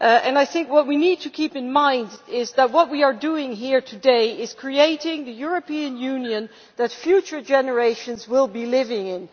I think what we need to keep in mind is that what we are doing here today is creating the European Union that future generations will be living in.